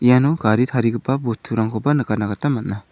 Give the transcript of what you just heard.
iano gari tarigipa bosturangkoba nikatna gita man·a.